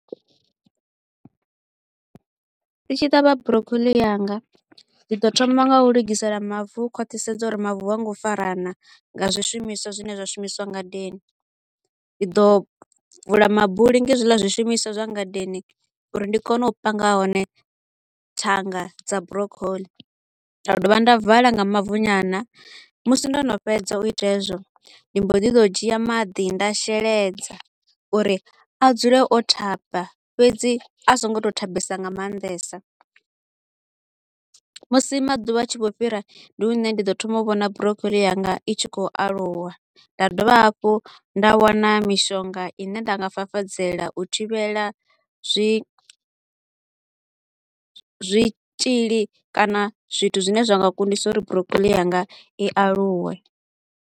Ndi tshi ṱavha broccoli yanga ndi ḓo thoma nga u lugisela mavu u khwaṱhisedza uri mavu ha ngo farana nga zwishumiswa zwine zwa shumiswa ngadeni. Ndi ḓo vula mabuli nga hezwiḽa zwishumiswa zwa ngadeni uri ndi kone u panga hone thanga dza broccoli, nda dovha nda vala nga mavu nyana. Musi ndo no fhedza u ita hezwo, ndi mbo ḓi ḓo dzhia maḓi nda sheledza uri a dzule o thaba fhedzi a so ngo to u thabesa nga maanḓesa. Musi maḓuvha a tshi vho fhira ndi hune nda ḓo thoma u vhona broccoli yanga i tshi kho u aluwa, nda dovha hafhu nda wana mishonga i ne nda nga fafadzela u thivhela zwi zwitshili kana zwithu zwine zwa nga kundisa uri broccoli yanga i aluwe.